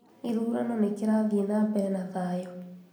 Gĩthurano nĩkĩrathiĩ na mbere na thayũ